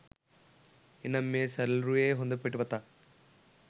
එනම් මේ සලරුවේ හොඳ පිටපතක්